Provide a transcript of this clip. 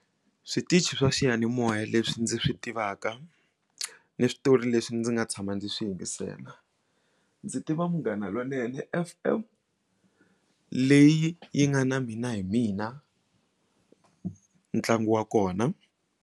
Switichi swa xiyanimoya leswi ndzi swi tivaka ni switori leswi ndzi nga tshama ndzi swi yingisela ndzi tiva munghana lonene f_m leyi yi nga na Mina hi Mina ntlangu wa kona.